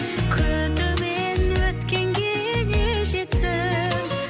күтумен өткенге не жетсін